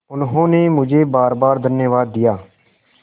उन्होंने मुझे बारबार धन्यवाद दिया